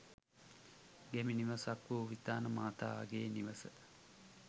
ගැමි නිවසක් වූ විතාන මහාගේ නිවස